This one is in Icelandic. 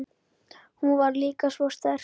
Hún var líka svo sterk.